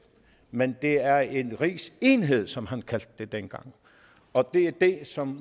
men det er en rigsenhed som han kaldte det dengang og det er det som